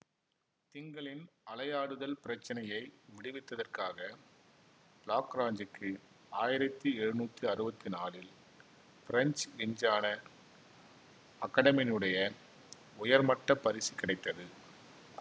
திங்களின் அலையாடுதல் பிரச்சினையை விடுவித்ததற்காக லாக்ராஞ்சிக்கு ஆயிரத்தி எழுநூத்தி அறுவத்தி நாலில் பிரெஞ்சு விஞ்ஞான அகடெமியினுடைய உயர்மட்ட பரிசு கிடைத்தது